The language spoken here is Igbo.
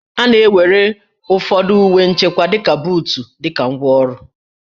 A na-ewere ụfọdụ uwe nchekwa dịka buut dị ka ngwá ọrụ